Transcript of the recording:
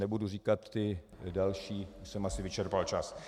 Nebudu říkat ty další, už jsem asi vyčerpal čas.